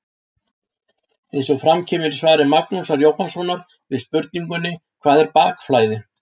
Eins og fram kemur í svari Magnúsar Jóhannssonar við spurningunni Hvað er bakflæði?